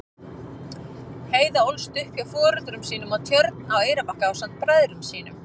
Heiða ólst upp hjá foreldrum sínum á Tjörn á Eyrarbakka ásamt bræðrum sínum.